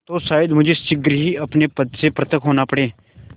तो शायद मुझे शीघ्र ही अपने पद से पृथक होना पड़े